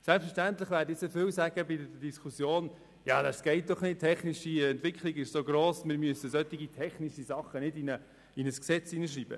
Selbstverständlich werden in der Diskussion dann viele sagen, dass die technische Entwicklung so rasant ist, dass wir solche Dinge nicht in ein Gesetz schreiben sollten.